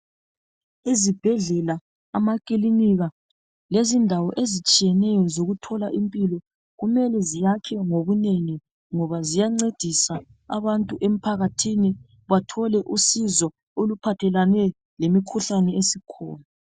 Izibhedlela, amakilinika lezindawo ezitshiyeneyo zokuthola impilo kumele ziyakhwe ngobunengi ngoba ziyancedisa abantu emphakathini bathole usizo oluphathelane lemikhuhlane esikhona.